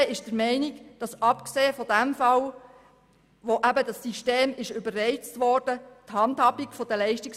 Die EVP ist der Meinung, dass die Handhabung der Leistungsverträge sich in den letzten Jahren verbessert hat.